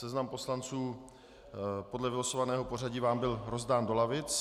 Seznam poslanců podle vylosovaného pořadí vám byl rozdán do lavic.